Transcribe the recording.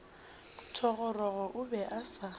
thogorogo o be a sa